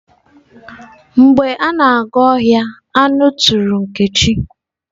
Mgbe a na-aga ohia, anu turu nkechi.